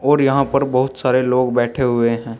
और यहां पर बहुत सारे लोग बैठे हुए हैं।